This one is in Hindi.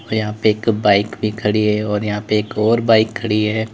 और यहां पे एक बाइक भी खड़ी है और यहां पे एक और बाइक खड़ी है।